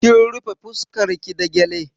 Kin rufe fuskan ki da gyale?